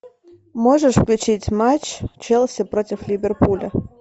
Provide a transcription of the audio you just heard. можешь включить матч челси против ливерпуля